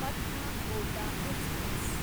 Patna Kota express